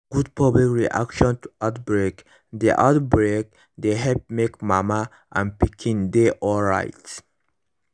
good public reaction to outbreak dey outbreak dey help make mama and pikin dey alright